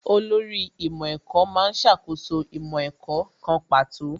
Olórí ìmọ̀ ẹ̀kọ́ má ń ṣàkóso ìmọ̀ ẹ̀kọ́ kan pàtó